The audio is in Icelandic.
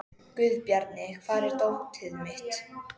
Guðbjarni, hvar er dótið mitt?